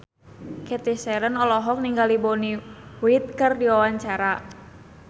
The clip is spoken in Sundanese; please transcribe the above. Cathy Sharon olohok ningali Bonnie Wright keur diwawancara